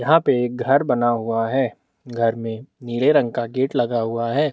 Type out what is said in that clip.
यहाँ एक घर बना हुआ है घर मे नीले रंग का गेट लगा हुआ है।